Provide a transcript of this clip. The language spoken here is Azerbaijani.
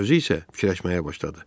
Özü isə fikirləşməyə başladı.